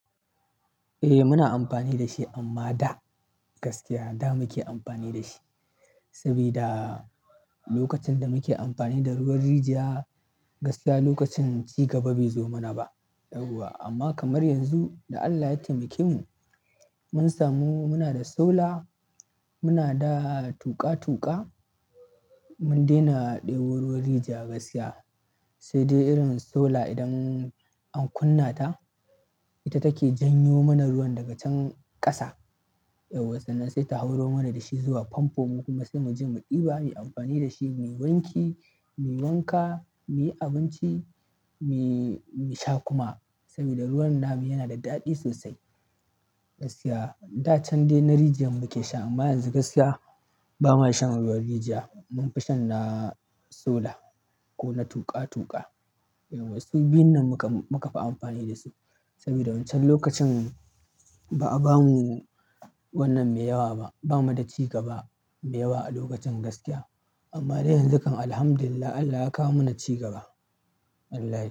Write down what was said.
Eh, muna amfani da shi amma da gaskiya da muke amfani da shi. Saboda lokacin da muke amfani da ruwan rijiya gaskiya lokacin cigaba bai zo mana ba. Amma kamar yanzu da allah ya taimake mu. Mun samu, muna da solar, muna da tuƙa-tuƙa, mun daina ɗebo ruwan rijiya gaskiya. Sai dai irin solar idan an kunna ta, ita take janyo mana ruwan daga can ƙasa. Sai ta hauro mana da shi zuwa famfo, mu kuma sai mu je mu ɗiba, muyi amfani da shi, muyi wanki, muyi wanka, muyi abinci, mui mu sha kuma. Saboda ruwan namu yana da daɗi sosai gaskiya. Da can dai na rijiya muke sha amma yanzu gaskiya bama shan ruwan rijiya. Munfi shan na solar ko na tuƙa-tuƙa. Yawa, suvbiyun nan muka, muka fi amfani da su sabida wancan lokacin ba a bamu wannan mai yawa ba. Bamu da cigaba mai yawa a lokacin gaskiya. Amma dai yanzu kam Alhamdulillah Allah ya kawo mana cigaba. Allah ya.